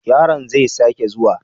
Yaron zai sake zuwa?